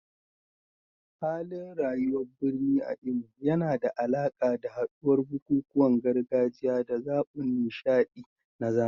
Halin rayuwar birni a Imo yana da alaƙa da haɗuwar bukukuwan gargajiya da zaɓin nishaɗi na zamani.